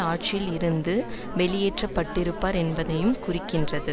ஆட்சியில் இருந்து வெளியேற்றப்பட்டிருப்பார் என்பதையுமே குறிக்கின்றது